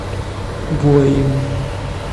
воин